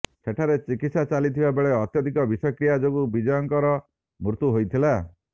ସେଠାରେ ଚିକିତ୍ସା ଚାଲିଥିବା ବେଳେ ଅତ୍ୟଧିକ ବିଷକ୍ରିୟା ଯୋଗୁଁ ବିଜୟଙ୍କର ମୃତ୍ୟୁ ହୋଇଥିଲା